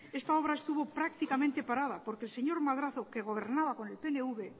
esta obra estuvo prácticamente parada porque el señor madrazo que gobernaba por el pnv